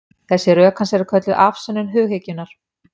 Þessi rök hans eru kölluð afsönnun hughyggjunnar.